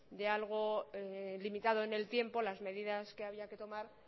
de algo limitado en el tiempo las medidas que había que tomar